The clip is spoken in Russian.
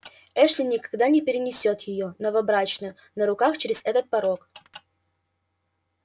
эшли никогда не перенесёт её новобрачную на руках через этот порог